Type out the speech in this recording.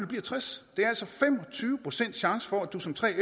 bliver tres år tyve procent chance for at du som 3fer